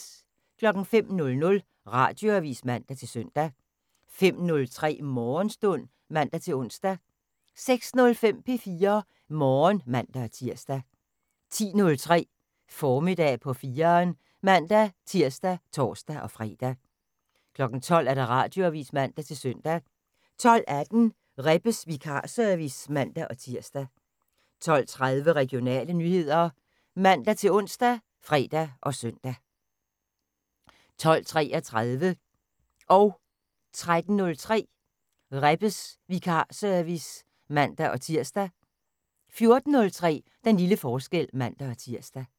05:00: Radioavis (man-søn) 05:03: Morgenstund (man-ons) 06:05: P4 Morgen (man-tir) 10:03: Formiddag på 4'eren (man-tir og tor-fre) 12:00: Radioavis (man-søn) 12:18: Rebbes vikarservice (man-tir) 12:30: Regionale nyheder (man-ons og fre-søn) 12:33: Rebbes vikarservice (man-tir) 13:03: Rebbes vikarservice (man-tir) 14:03: Den lille forskel (man-tir)